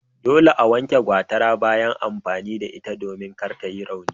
Dole a wanke gwatara bayan amfani da ita domin kar ta yi rauni.